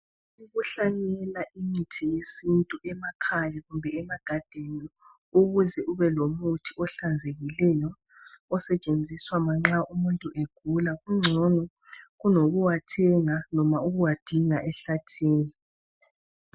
Ukukuhlanyela imithi yesintu emakhaya kumbe emagadeni ukuze ube lomuthi ohlanzekileyo osetshenziswa manxa umuntu egula kungcono kulokuwathenga loba ukuwadinga ehlathini.